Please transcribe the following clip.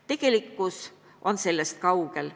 Tegelikkus on sellest kaugel.